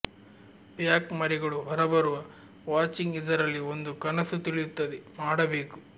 back ಮರಿಗಳು ಹೊರಬರುವ watching ಇದರಲ್ಲಿ ಒಂದು ಕನಸು ತಿಳಿಯುತ್ತದೆ ಮಾಡಬೇಕು